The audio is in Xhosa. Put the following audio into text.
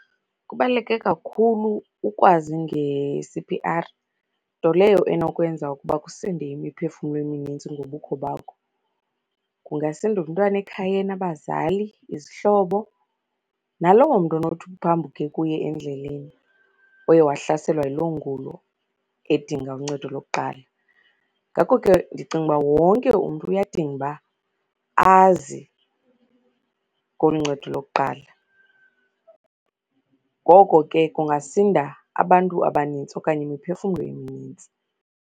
Kubaluleke kakhulu ukwazi nge-C_P_R, nto leyo enokwenza ukuba kusinde imiphefumlo eminintsi ngobukho bakho. Kungasinda umntwana ekhayeni, abazali, izihlobo, naloo mntu onothi uphambuke kuye endleleni oye wahlaselwa yiloo ngulo edinga uncedo lokuqala. Ngoko ke ndicinga uba wonke umntu uyadinga uba azi ngolu ncedo lokuqala. Ngoko ke kungasinda abantu abanintsi okanye imiphefumlo eminintsi.